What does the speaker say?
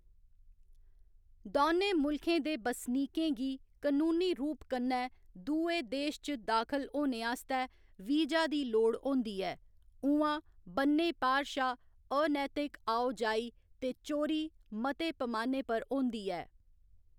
दौनें मुल्खें दे बसनीकें गी कनूनी रूप कन्नै दुए देश च दाखल होने आस्तै वीजा दी लोड़ होंदी ऐ, उ'आं, ब'न्नै पार शा अनैतिक आओ जाई ते चोरी मते पमाने पर होंदी ऐ।